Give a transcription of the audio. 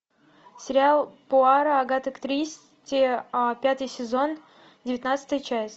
сериал пуаро агаты кристи пятый сезон девятнадцатая часть